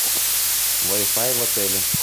вай фай в отеле